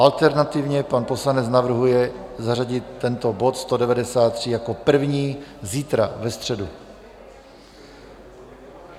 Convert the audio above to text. Alternativně pan poslanec navrhuje zařadit tento bod 193 jako první zítra, ve středu.